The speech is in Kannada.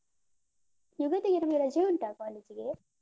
ಯುಗಾದಿಗೆ ನಮ್ಗೆ ರಜೆ ಉಂಟಾ college ಗೆ?